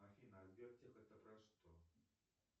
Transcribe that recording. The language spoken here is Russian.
афина а сбер тех это про что